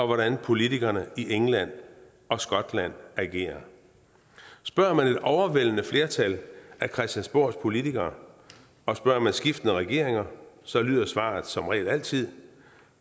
hvordan politikerne i england og skotland agerer spørger man et overvældende flertal af christiansborgs politikere og spørger man skiftende regeringer så lyder svaret som regel altid